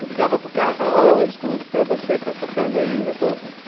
Eu ligava para o cara e falava, ô, escuta, você está tocando ainda? estou.